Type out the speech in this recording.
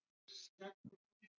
Arnór Kárason: Já.